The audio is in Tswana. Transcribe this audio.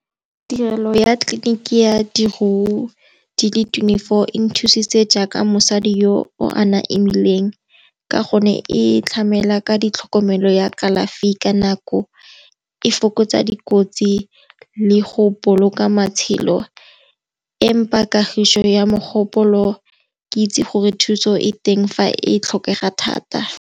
Tirelo ya tleliniki ya di le twenty-four e nthusitse jaaka mosadi yo o ana emeileng ka gonne e tlhamela ka ditlhokomelo ya kalafi ka nako. E fokotsa dikotsi le go boloka matshelo e mpha kagiso ya mogopolo, ke itse gore thuso e teng fa e tlhokega thata.